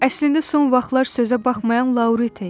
Əslində son vaxtlar sözə baxmayan Laurita idi.